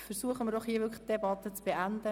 Versuchen wir doch die Debatte zu beenden.